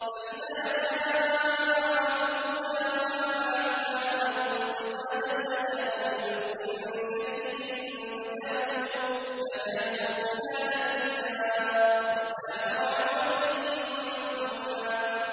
فَإِذَا جَاءَ وَعْدُ أُولَاهُمَا بَعَثْنَا عَلَيْكُمْ عِبَادًا لَّنَا أُولِي بَأْسٍ شَدِيدٍ فَجَاسُوا خِلَالَ الدِّيَارِ ۚ وَكَانَ وَعْدًا مَّفْعُولًا